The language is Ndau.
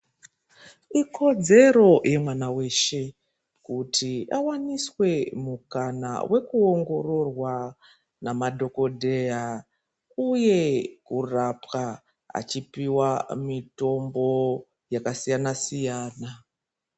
Ikodzore yemwama weshe kuti awaniswe mukana wekuongororwa nemadhogodheya uye kurapwa achipiwa mitombo yakasiyana siyana.